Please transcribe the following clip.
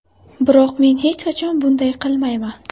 Biroq men hech qachon bunday qilmayman.